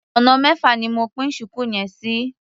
Ọ̀nà mẹ́fà ni mo pín ṣùkú yẹn sí.